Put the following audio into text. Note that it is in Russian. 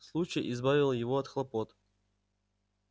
случай избавил его от хлопот